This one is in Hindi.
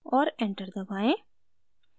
और enter दबाएं